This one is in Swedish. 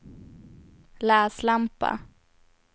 läslampa